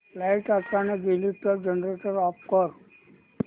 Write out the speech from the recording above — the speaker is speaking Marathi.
लाइट अचानक गेली तर जनरेटर ऑफ कर